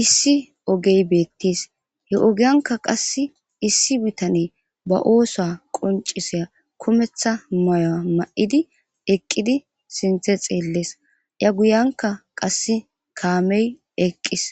issi ogey beettis he ogiyanka qass issi bitane ba oosa qoncisiya kumetha mayoa ma7idi eqqidi sinthe xeellees iya guyanka qass kaamey eqqis